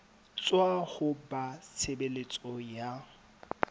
tswa ho ba tshebeletso ya